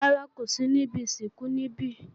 Rárá, kò sí níbi ìsìnkú níbí.